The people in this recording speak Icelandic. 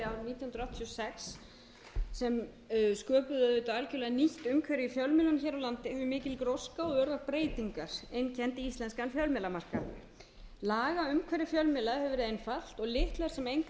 sex sem sköpuðu auðvitað algerlega nýtt umhverfi í fjölmiðlum hér á landi þar sem mikil gróska og örar breytingar einkenndu íslenskan fjölmiðlamarkað lagaumhverfi fjölmiðla hefur verið einfalt og litlar sem engar hindranir eru fyrir stofnun